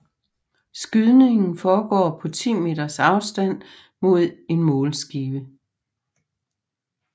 Skydningen foregår på 10 meters afstand mod en målskive